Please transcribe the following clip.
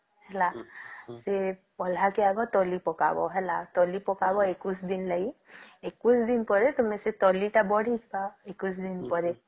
ହେଲା ସିଏ ପାହିଲାକି ହବ ତଲି ପକା ହବ ହେଲା ତଲି ପକବ ଏକୋଇଶଦିନ ଲାଗି ଏକୋଇଶଦିନ ପରେ ସେ ତଲି ଟା ବଢି ବ ଏକୋଇଶଦିନ ପରେ